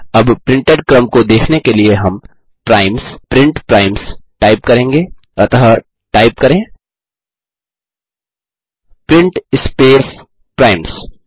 अब प्रिंटेड क्रम को देखने के लिए हम primesप्रिंट प्राइम्स टाइप करेंगे अतः टाइप करें प्रिंट स्पेस प्राइम्स